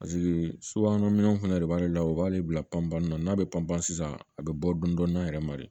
subahana minɛw fɛnɛ de b'ale la o b'ale bila panpan na n'a be panpan sisan a be bɔ dɔɔnin dɔɔnin a yɛrɛ ma de